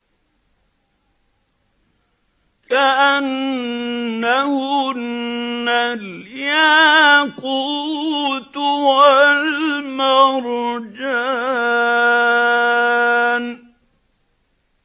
كَأَنَّهُنَّ الْيَاقُوتُ وَالْمَرْجَانُ